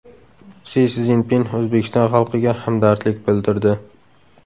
Si Szinpin O‘zbekiston xalqiga hamdardlik bildirdi.